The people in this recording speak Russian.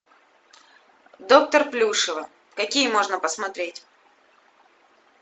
доктор плюшева какие можно посмотреть